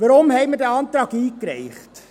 Weshalb haben wir diesen Antrag eingereicht?